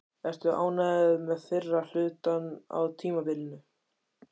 Ertu ánægður með fyrri hlutann á tímabilinu?